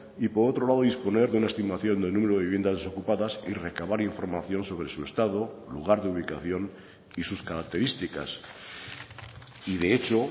y por otro lado disponer de una estimación del número de viviendas ocupadas y recabar información sobre su estado lugar de ubicación y sus características y de hecho